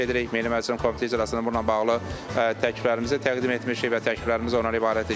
Milli Məclisin Komitə iclasında bununla bağlı təkliflərimizi təqdim etmişik və təkliflərimiz ondan ibarətdir ki,